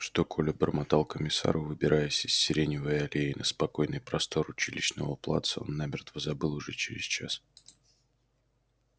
что коля бормотал комиссару выбираясь из сиреневой аллеи на спокойный простор училищного плаца он намертво забыл уже через час